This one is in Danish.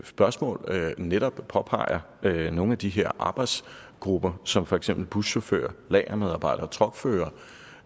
spørgsmål netop påpeger nogle af de her arbejdsgrupper som for eksempel buschauffører lagermedarbejdere og truckførere